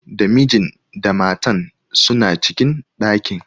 Da mijin da matan suna cikin ɗakin.